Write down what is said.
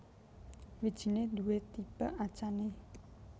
Wijiné duwé tipe achane